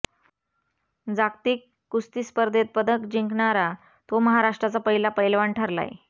जागतिक कुस्ती स्पर्धेत पदक जिंकणारा तो महाराष्ट्राचा पहिला पैलवान ठरलाय